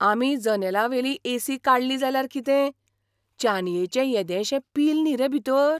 आमी जनेलावेली एसी काडली जाल्यार कितें? चानयेचें येदेशें पील न्ही रे भितर!